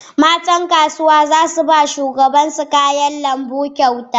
Matan kasuwa za su ba shugabansu kayan lambu kyauta.